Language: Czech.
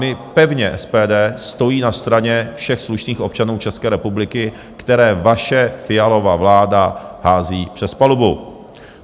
My pevně, SPD stojí na straně všech slušných občanů České republiky, které vaše Fialova vláda hází přes palubu.